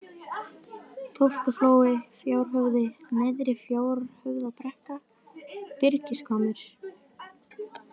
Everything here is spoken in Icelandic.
Tóftaflói, Fjárhöfði, Neðri-Fjárhöfðabrekka, Byrgishvammur